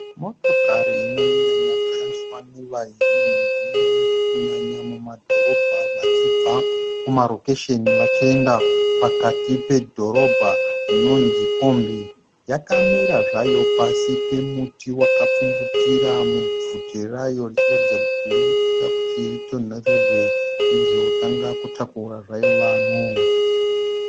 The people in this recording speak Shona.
Motokari inonyanya kushandiswa nevazhinji kunyanya mumadhorobha vachibva kumarokesheni vachienda pakati pedhorobha inonzi kombi. Yakamira zvayo pasi pemuti wakapfumvutira mubvute rayo ichiratidza kuti irikuda kuti itinhorerwe ichizotanga kutakura zvayo vanhu.